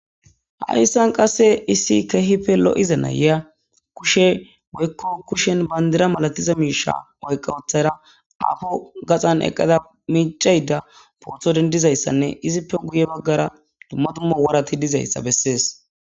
haissan qasse issi keehife lo7iza nayya kushe woykko kushen bandira malatiza miisha oyqqawothara afo gaxan eqqada miicayda pootho dendizayssanne izippe guye baggara dumma dumma warati dizayssa bessees